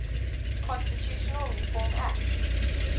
constitutional reform act